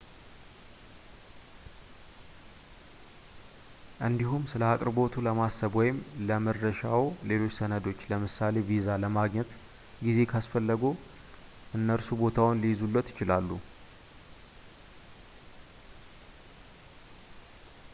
እንዲሁም ስለአቅርቦቱ ለማሰብ ወይም ለመድረሻዎ ሌሎች ሰነዶችን ለምሳሌ፥ ቪዛ ለማግኘት ጊዜ ካስፈለግዎ እነርሱ ቦታውን ልይዙልዎት ይችላሉ